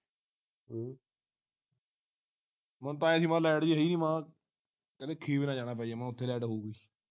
ਮੈਨੂੰ ਤੇ ਐ ਸੀ light ਜੀ ਹੈ ਸੀ ਮਹਾ ਇੱਥੇ ਨਾ ਜਾਣਾ ਪੈ ਜਾਵੇ ਮੈਂ ਉਥੇ light ਹੋਉਗੀ